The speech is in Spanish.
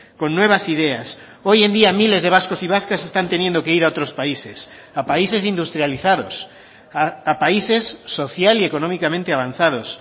con nuevas ideas hoy en día miles de vascos y vascas se están teniendo que ir a otros países a países industrializados a países social y económicamente avanzados